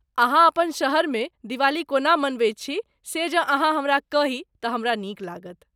अहाँ अपन शहरमे दिवाली कोना मनाबैत छी से जँ अहाँ हमरा कही तऽ हमरा नीक लागत।